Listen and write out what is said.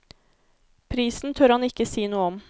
Prisen tør han ikke si noe om.